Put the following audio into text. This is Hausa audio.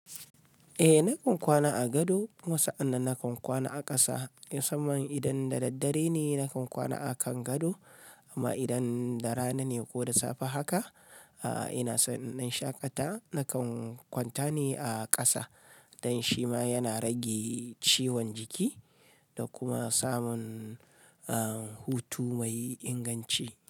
Eh nakan kwana a gado kuma sa'annan nakan kwana a kasa. Musamman idan da daddare ne nakan kwana a kan gado, amma idan da rana ne ko da safe haka, ina son in dan shaƙata nakan kwanta ne a ƙasa. Dan shi ma yana rage ciwon jiki da kuma samun, ah, hutu mai inganci.